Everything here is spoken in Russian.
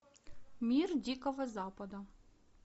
мир дикого запада